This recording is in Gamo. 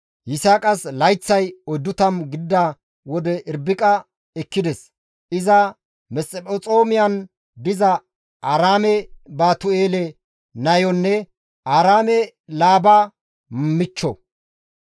Yisaaqas layththay 40 gidida wode Irbiqa ekkides; iza Mesphexoomiyan diza Aaraame Baatu7eele nayonne Aaraame dere as Laaba michcho.